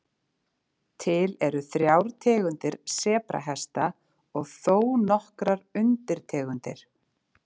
Til eru þrjár tegundir sebrahesta og þó nokkrar undirtegundir.